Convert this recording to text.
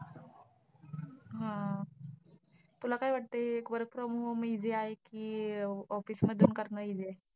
हा! तुला काय वाटतंय work from home easy आहे कि office मधून करणं easy आहे.